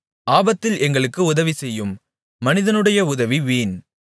ஆபத்தில் எங்களுக்கு உதவிசெய்யும் மனிதனுடைய உதவி வீண்